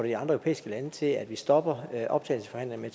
europæiske lande til at vi stopper optagelsesforhandlingerne